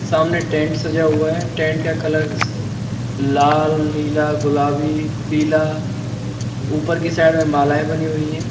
सामने टेंट सजा हुआ है टेंट का कलर लाल नीला गुलाबी पीला ऊपर की साइड में मालाएं बनी हुई हैं।